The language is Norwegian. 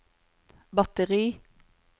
batteri